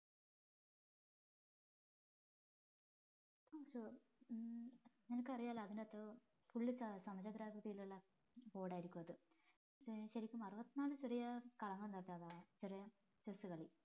ഉം നിനക്കറിയാലോ അതിനകത്ത് full ചതുര ആക്രിതിയിലുള്ള board ആയിരിക്കും അത് ശെരിക്കും അറുപത്തിനാല് ചെറിയ കളങ്ങൾ ചെറിയ chess കളി